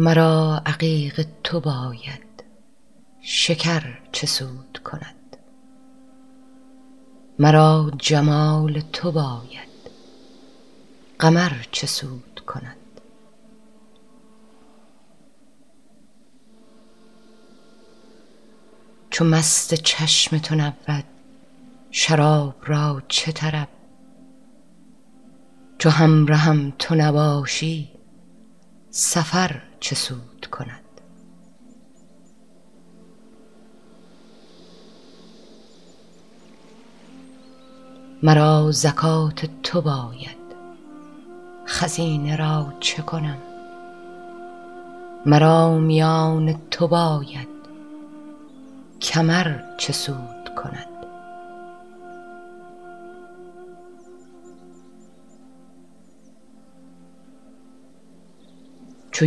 مرا عقیق تو باید شکر چه سود کند مرا جمال تو باید قمر چه سود کند چو مست چشم تو نبود شراب را چه طرب چو همرهم تو نباشی سفر چه سود کند مرا زکات تو باید خزینه را چه کنم مرا میان تو باید کمر چه سود کند چو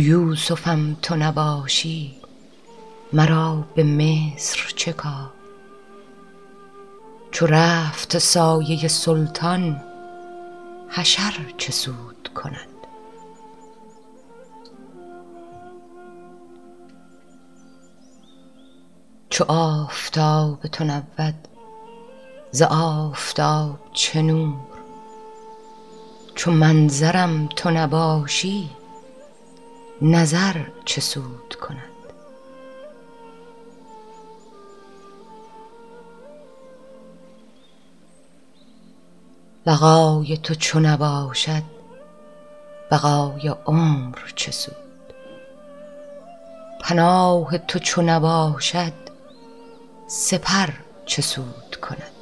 یوسفم تو نباشی مرا به مصر چه کار چو رفت سایه سلطان حشر چه سود کند چو آفتاب تو نبود ز آفتاب چه نور چو منظرم تو نباشی نظر چه سود کند لقای تو چو نباشد بقای عمر چه سود پناه تو چو نباشد سپر چه سود کند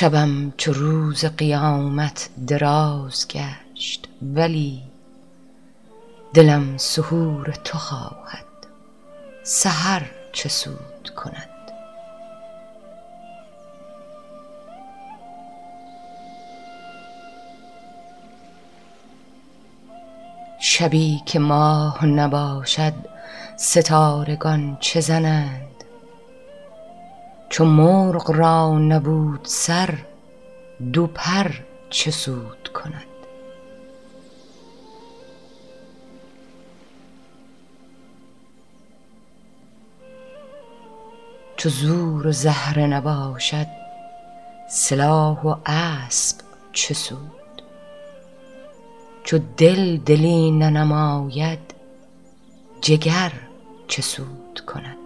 شبم چو روز قیامت دراز گشت ولی دلم سحور تو خواهد سحر چه سود کند شبی که ماه نباشد ستارگان چه زنند چو مرغ را نبود سر دو پر چه سود کند چو زور و زهره نباشد سلاح و اسب چه سود چو دل دلی ننماید جگر چه سود کند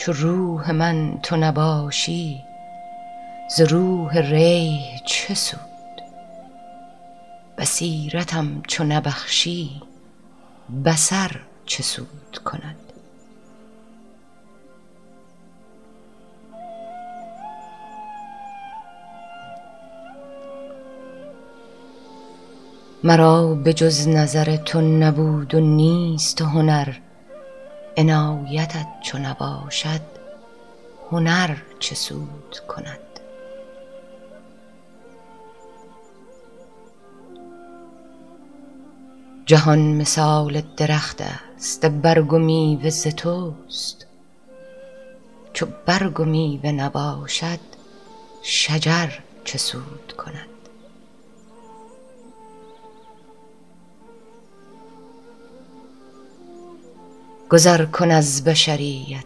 چو روح من تو نباشی ز روح ریح چه سود بصیرتم چو نبخشی بصر چه سود کند مرا به جز نظر تو نبود و نیست هنر عنایتت چو نباشد هنر چه سود کند جهان مثال درختست برگ و میوه ز توست چو برگ و میوه نباشد شجر چه سود کند گذر کن از بشریت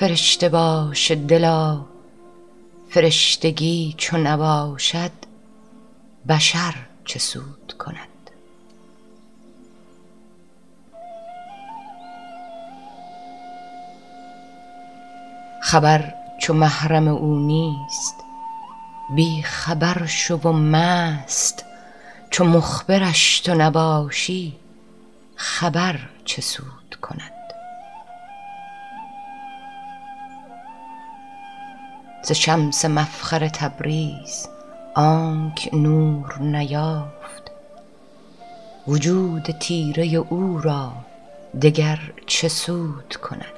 فرشته باش دلا فرشتگی چو نباشد بشر چه سود کند خبر چو محرم او نیست بی خبر شو و مست چو مخبرش تو نباشی خبر چه سود کند ز شمس مفخر تبریز آنک نور نیافت وجود تیره او را دگر چه سود کند